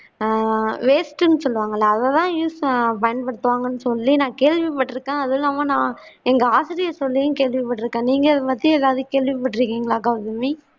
waste னு சொல்லுவாங்கல்ல அதத்தான் பயன்படுத்துவாங்கன்னு சொல்லி நான் கேள்விப்பட்டிருக்கேன் அது இல்லாம நான் எங்க ஆசிரியர் சொல்லியும் கேள்விப்பட்டிருக்கிறேன் நீங்களும் இத பத்தி ஏதாவது கேள்விப்பட்டிருக்கீங்களா கௌதமி